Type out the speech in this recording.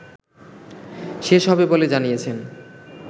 শেষ হবে বলে জানিয়েছেন